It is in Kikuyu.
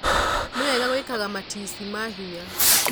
Nĩwega gwĩkaga matici ma hinya.